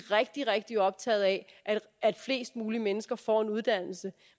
rigtig rigtig optaget af at flest mulige mennesker får en uddannelse